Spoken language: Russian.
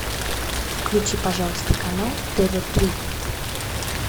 включи пожалуйста канал тв три